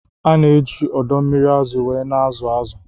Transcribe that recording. Ana eji odo mmiri azụ were na azụ azụ